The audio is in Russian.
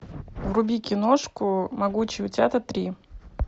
вруби киношку могучие утята три